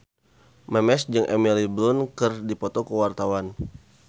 Memes jeung Emily Blunt keur dipoto ku wartawan